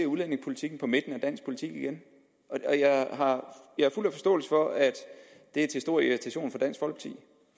udlændingepolitikken på midten af dansk politik igen jeg har fuld forståelse for at det er til stor irritation